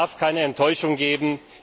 Es darf keine Enttäuschung geben.